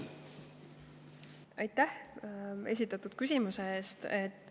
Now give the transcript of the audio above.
Aitäh esitatud küsimuse eest!